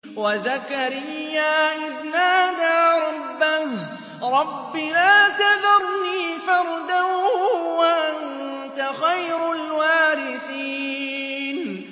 وَزَكَرِيَّا إِذْ نَادَىٰ رَبَّهُ رَبِّ لَا تَذَرْنِي فَرْدًا وَأَنتَ خَيْرُ الْوَارِثِينَ